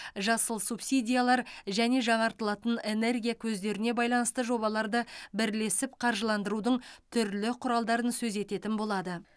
жасыл субсидиялар және жаңартылатын энергия көздеріне байланысты жобаларды бірлесіп қаржыландырудың түрлі құралдарын сөз ететін болады